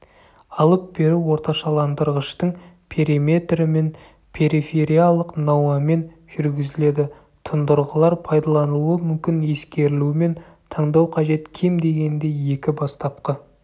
алып беру орташаландырғыштың периметрімен перифериялық науамен жүргізіледі тұндырғылар пайдаланылуы мүмкін ескерілуімен таңдау қажет кем дегенде екі бастапқы